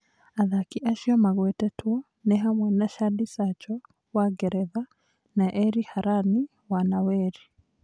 Athaki acio magwetetwo nĩ hamwe na Shadi Sacho wa Ngeretha na Eri Harani wa Naweri.